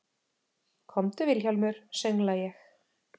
Komdu Vilhjálmur, söngla ég.